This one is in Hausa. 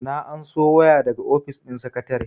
na anso waya daga ofis din sakatare